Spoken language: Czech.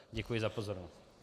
Děkuji za pozornost.